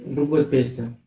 другой песня